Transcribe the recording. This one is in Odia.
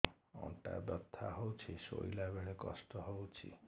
ଅଣ୍ଟା ବଥା ହଉଛି ଶୋଇଲା ବେଳେ କଷ୍ଟ ହଉଛି